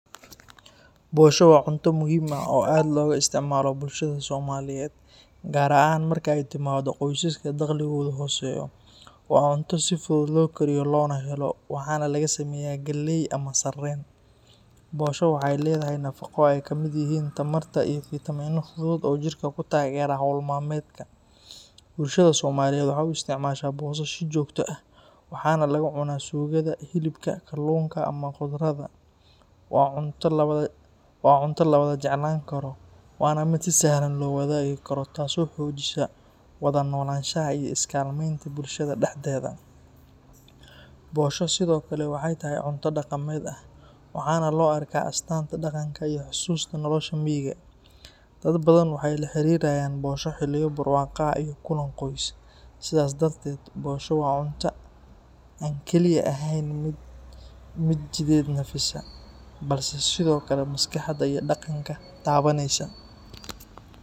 Bosho waa cunto muhiim ah oo aad looga isticmaalo bulshada Soomaaliyeed, gaar ahaan marka ay timaaddo qoysaska dakhligoodu hooseeyo. Waa cunto si fudud loo kariyo loona helo, waxaana laga sameeyaa galley ama sarreen. Bosho waxay leedahay nafaqo ay ka mid yihiin tamar iyo fiitamiino fudud oo jirka ku taageera hawl maalmeedka. Bulshada Soomaaliyeed waxay u isticmaashaa bosho si joogto ah, waxaana lagu cunaa suugada hilibka, kalluunka ama khudradda. Waa cunto la wada jeclaan karo, waana mid si sahlan loo wadaagi karo, taasoo xoojisa wada noolaanshaha iyo is-kaalmeynta bulshada dhexdeeda. Bosho sidoo kale waxay tahay cunto dhaqameed ah, waxaana loo arkaa astaanta dhaqanka iyo xasuusta nolosha miyiga. Dad badan waxay la xiriiriyaan bosho xilliyo barwaaqo ah iyo kulan qoys. Sidaas darteed, bosho waa cunto aan kaliya ahayn mid jidheed nafisa, balse sidoo kale maskaxda iyo dhaqanka taabaneysa.